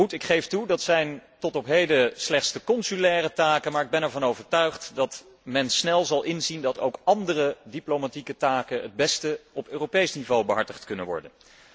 Goed, ik geef toe, dat zijn tot op heden slechts de consulaire taken, maar ik ben ervan overtuigd dat men snel zal inzien dat ook andere diplomatieke taken het beste op Europees niveau behartigd kunnen worden.